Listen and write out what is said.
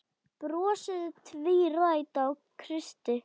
Brosið tvírætt á Kristi.